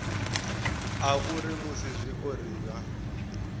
a uri musi zwiori zwa